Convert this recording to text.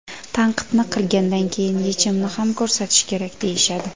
Tanqidni qilgandan keyin yechimni ham ko‘rsatish kerak, deyishadi.